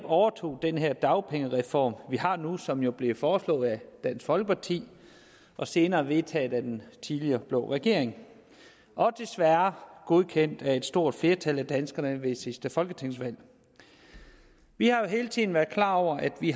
overtog den dagpengereform vi har nu og som jo blev foreslået af dansk folkeparti og senere vedtaget af den tidligere blå regering og desværre godkendt af et stort flertal af danskerne ved sidste folketingsvalg vi har jo hele tiden været klar over at vi